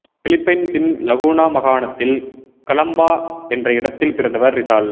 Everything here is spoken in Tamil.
பிலிப்பைன்சின் லகூனா மாகாணத்தில் கலாம்பா என்ற இடத்தில் பிறந்தவர் ரிசால்